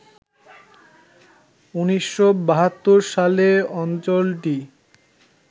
১৯৭২ সালে অঞ্চলটি